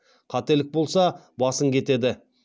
қателік болса басың кетеді